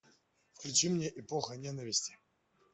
включи мне эпоха ненависти